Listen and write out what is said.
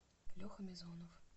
леха мизонов